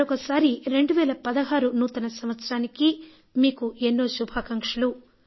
మరొకసారి 2016 నూతన సంవత్సరానికి మీకు ఎన్నో శుభాకాంక్షలు